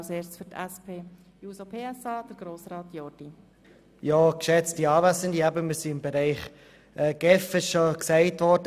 Zuerst hat Grossrat Jordi für die SP-JUSO-PSA-Fraktion das Wort.